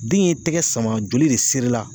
Den ye tɛgɛ sama joli de sirila